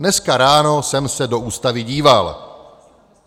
Dneska ráno jsem se do Ústavy díval.